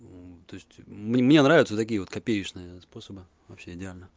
ну то есть мне нравятся такие вот копеечные способы вообще идеально